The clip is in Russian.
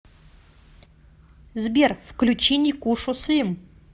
сбер включи никушу слим